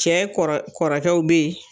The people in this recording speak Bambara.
Cɛ kɔrɔ kɔrɔkɛw bɛ ye.